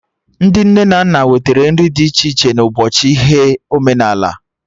Ndị nne na nna wetara nri dị iche ịchị na ụbọchị ihe omenala